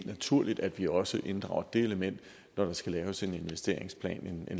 naturligt at vi også inddrager det element når der skal laves en langsigtet investeringsplan